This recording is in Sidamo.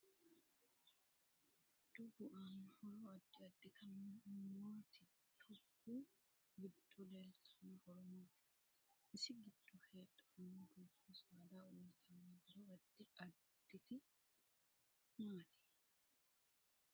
Dubbu aanno horo addi additi maati dubbu giddo leeltanno horo maati isi giddo heedhanno dubbu saada uyiitanni horo addi additi maati